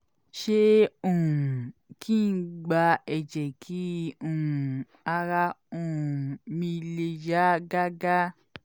ṣé um kí n gba ẹ̀jẹ̀ kí um ara um mi le yá gágá?